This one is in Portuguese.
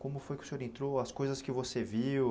Como foi que o senhor entrou, as coisas que você viu?